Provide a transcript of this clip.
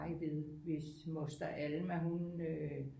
Ved hvis moster Alma hun øh